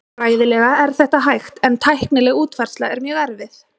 Fræðilega er þetta hægt en tæknileg útfærsla er mjög erfið.